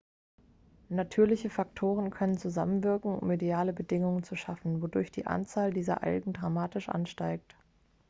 natürliche faktoren können zusammenwirken um ideale bedingungen zu schaffen wodurch die anzahl dieser algen dramatisch ansteigt